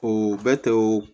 O bɛ tɛ wo